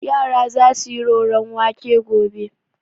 Yara za su yi roron wake gobe.